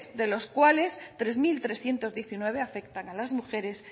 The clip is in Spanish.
de los cuales tres mil trescientos diecinueve afectan a las mujeres